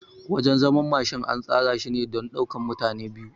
Wajan zaman Mashin an tsara shine don ɗaukan mutane biyu